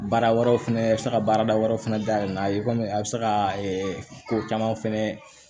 Baara wɛrɛw fɛnɛ a bɛ se ka baarada wɛrɛ fana dayɛlɛn n'a ye kɔmi a bɛ se ka ko caman fɛnɛ